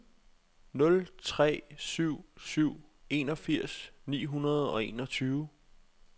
nul tre syv syv enogfirs ni hundrede og enogtyve